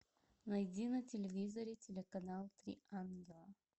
найди на телевизоре телеканал три ангела